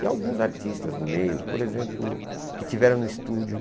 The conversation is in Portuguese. E alguns artistas do meio, por exemplo, que estiveram no estúdio.